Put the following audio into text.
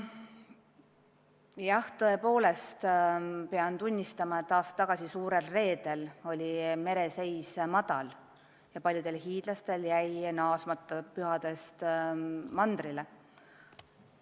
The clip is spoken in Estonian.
Jah, tõepoolest pean tunnistama, et aasta tagasi suurel reedel oli mereseis madal ja paljudel hiidlastel jäi pärast pühi mandrile naasmata.